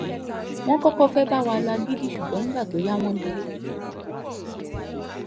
wọ́n kọ́kọ́ fẹ́ẹ́ bá wa lo agídí ṣùgbọ́n nígbà tó yá wọn dúró